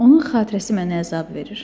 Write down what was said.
Onun xatirəsi mənə əzab verir.